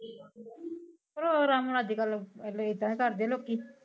ਓ ਅਜ ਕਲ ਪੈਲਾ ਏਦਾ ਕਰਦੇ ਲੋਕੀ